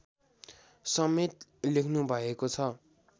समेत लेख्नुभएको छ